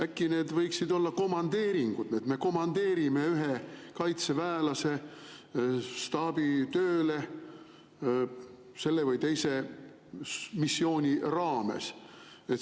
Äkki need võiksid olla komandeeringud, et me komandeerime ühe kaitseväelase staabitööle selle või teise missiooni raames?